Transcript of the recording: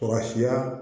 Kɔrɔ siya